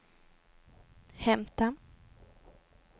hämta